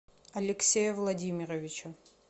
алексея владимировича